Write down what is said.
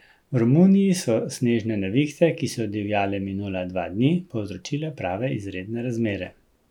V Romuniji so snežne nevihte, ki so divjale minula dva dni, povzročile prave izredne razmere.